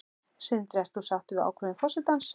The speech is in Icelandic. Sindri: Ert þú sáttur við ákvörðun forsetans?